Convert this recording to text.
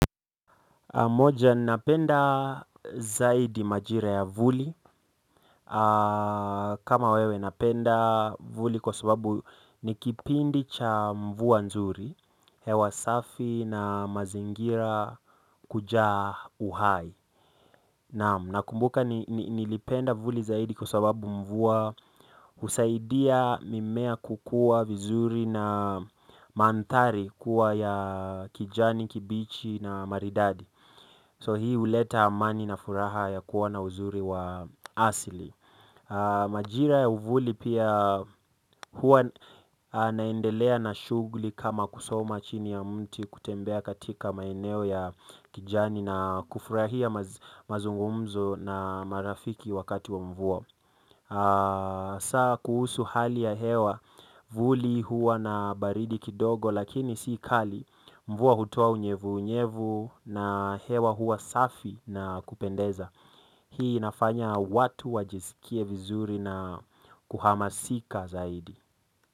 Moja, napenda zaidi majira ya vuli. Kama wewe napenda vuli kwa sababu ni kipindi cha mvua nzuri, hewa safi na mazingira kujaa uhai, naam. Nakumbuka nilipenda vuli zaidi kwa sababu mvua husaidia mimea kukua vizuri na mandhari kuwa ya kijani kibichi na maridadi. Hii huleta amani na furaha ya kuona uzuri wa asili majira ya uvuli pia huwa naendelea na shughuli kama kusoma chini ya mti kutembea katika maineo ya kijani na kufurahia mazungumzo na marafiki wakati wa mvua saa kuhusu hali ya hewa. Vuli huwa na baridi kidogo lakini si kali mvua hutua unyevu unyevu na hewa huwa safi na kupendeza. Hii inafanya watu wajisikie vizuri na kuhamasika zaidi.